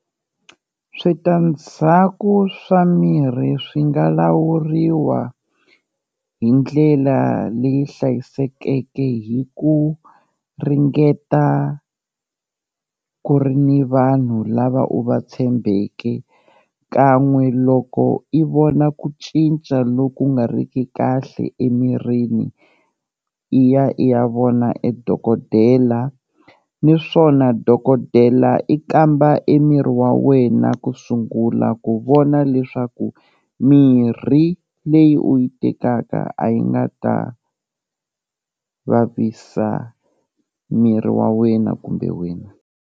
Switandzhaku swa mirhi swi nga lawuriwa hi ndlela leyi hlayisekeke hi ku ringeta ku ri ni vanhu lava u va tshembeke kan'we loko i vona ku cinca loku nga ri ki kahle emirini, i ya i ya vona e dokodela niswona dokodela i kamba e miri wa wena ku sungula ku vona leswaku mirhi leyi u yi tekaka a yi nga ta vavisa miri wa wena kumbe wena.